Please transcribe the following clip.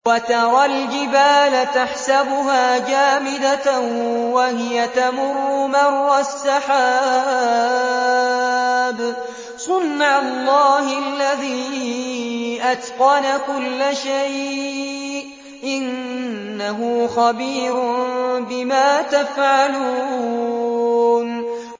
وَتَرَى الْجِبَالَ تَحْسَبُهَا جَامِدَةً وَهِيَ تَمُرُّ مَرَّ السَّحَابِ ۚ صُنْعَ اللَّهِ الَّذِي أَتْقَنَ كُلَّ شَيْءٍ ۚ إِنَّهُ خَبِيرٌ بِمَا تَفْعَلُونَ